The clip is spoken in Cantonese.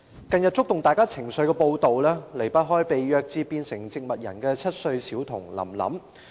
近日觸動大家情緒的報道，離不開被虐至成為植物人的7歲小童"林林"。